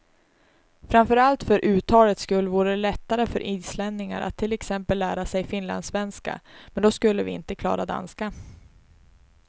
Framför allt för uttalets skull vore det lättare för islänningar att till exempel lära sig finlandssvenska, men då skulle vi inte klara danska.